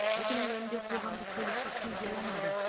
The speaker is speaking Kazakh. бүкіл әлемде қоғамдық көлік субсидияланады